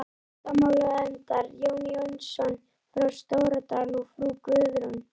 Menntamálanefndar, Jón Jónsson frá Stóradal og frú Guðrún